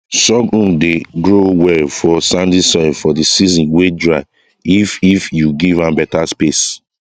sorghum dey grow well for sandy soil for the season wey dry if if you give am better space